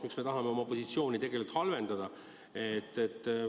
Miks me tahame oma positsioone tegelikult halvendada?